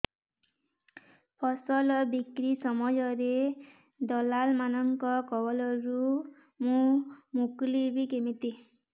ଫସଲ ବିକ୍ରୀ ସମୟରେ ଦଲାଲ୍ ମାନଙ୍କ କବଳରୁ ମୁଁ ମୁକୁଳିଵି କେମିତି